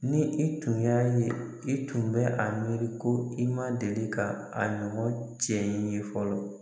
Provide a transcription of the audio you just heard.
Ni i tun y'a ye i tun bɛ a miiri ko i ma deli ka a ɲɔgɔn cɛ in ye fɔlɔ